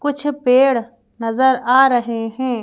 कुछ पेड़ नजर आ रहे हैं।